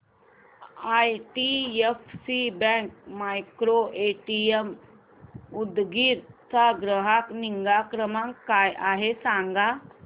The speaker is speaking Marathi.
आयडीएफसी बँक मायक्रोएटीएम उदगीर चा ग्राहक निगा क्रमांक काय आहे सांगा